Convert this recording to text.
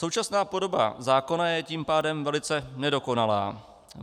Současná podoba zákona je tím pádem velice nedokonalá.